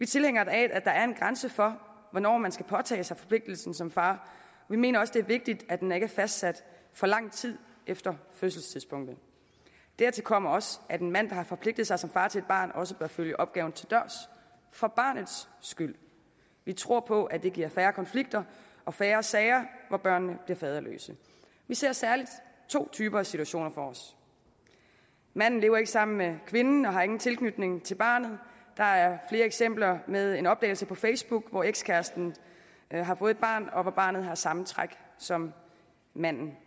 tilhængere af at der er en grænse for hvornår man skal påtage sig forpligtelsen som far vi mener også det er vigtigt at den ikke er fastsat for lang tid efter fødselstidspunktet dertil kommer også at en mand der har forpligtet sig som far til et barn også bør følge opgaven til dørs for barnets skyld vi tror på at det giver færre konflikter og færre sager hvor børnene bliver faderløse vi ser særlig to typer af situationer for os manden lever ikke sammen med kvinden og har ingen tilknytning til barnet der er flere eksempler med en opdagelse på facebook hvor ekskæresten har fået et barn og hvor barnet har samme træk som manden